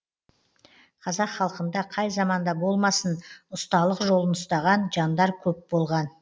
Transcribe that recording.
қазақ халқында қай заманда болмасын ұсталық жолын ұстаған жандар көп болған